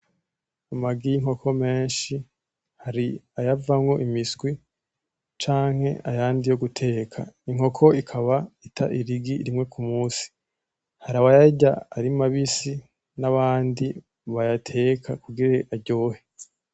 Amagi y'inkoko menshi hari ayavamwo imiswi canke ayandi yo guteka. Inkoko ikaba ita irigi rimwe kumusi, harayabarya ari mabisi n'abandi bayateka kugira aryohe